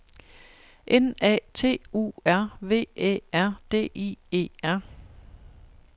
N A T U R V Æ R D I E R